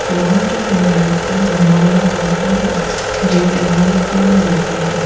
Lawn के किनारे एक घुमावदार रास्ता है जो इमारत की ओर जाता है।